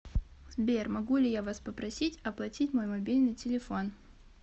сбер могу ли я вас попросить оплатить мой мобильный телефон